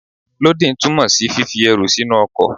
Lódìn túmọ̀ sí fífi ẹrù sínú ọkọ̀.